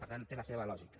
per tant té la seva lògica